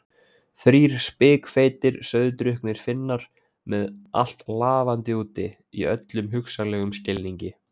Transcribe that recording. Þrír spikfeitir, sauðdrukknir Finnar með allt lafandi úti, í öllum hugsanlegum skilningi.